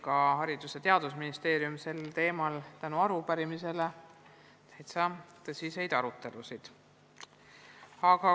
Ka Haridus- ja Teadusministeeriumis oli tänu sellele sel teemal mitu tõsist arutelu.